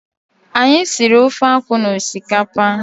Anyị siri ofe akwụ na osikapa.